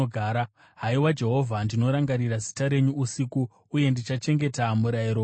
Haiwa, Jehovha, ndinorangarira zita renyu usiku, uye ndichachengeta murayiro wenyu.